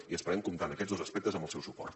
i esperem comptar en aquests dos aspectes amb el seu suport